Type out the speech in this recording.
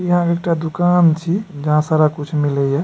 इहां में एकटा दुकान छी जहां सारा कुछ मिले या।